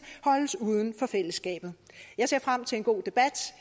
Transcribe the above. holdes uden for fællesskabet jeg ser frem til en god debat